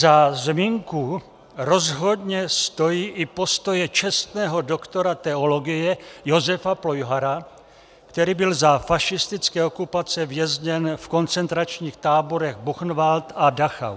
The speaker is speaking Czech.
Za zmínku rozhodně stojí i postoje českého doktora teologie Josefa Plojhara, který byl za fašistické okupace vězněn v koncentračních táborech Buchenwald a Dachau.